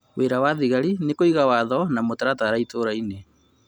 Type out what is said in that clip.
wĩra wa thĩgari nĩkũiga watho na mũtaratara itũũrainĩ